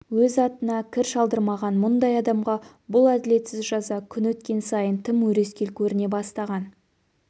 өз атына кір шалдырмаған мұндай адамға бұл әділетсіз жаза күн өткен сайын тым өрескел көріне бастаған